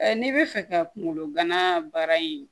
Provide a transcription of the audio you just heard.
n'i bɛ fɛ ka kungolo gana baara in